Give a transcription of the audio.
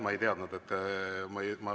Ma ei teadnud, et te …